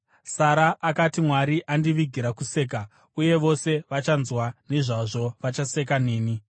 Sara akati, “Mwari andivigira kuseka, uye vose vachanzwa nezvazvo vachaseka neni.”